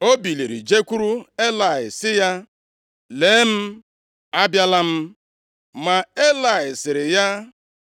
O biliri jekwuru Elayị, sị ya, “Lee m abịala m.” Ma Elayị sịrị ya,